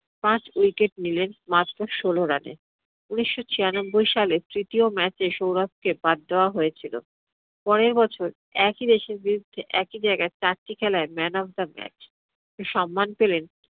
পাঁচ wicket নিলেন মাত্র ষোল রানে। উনিশশো ছিয়ানব্বই সালের তৃতীয় match এ সৌরভকে বাদ দেওয়া হয়েছিল। পরের বছর একই দেশের বিরুদ্ধে একই জায়গায় চারটি খেলাই man of the match সন্মান পেলেন।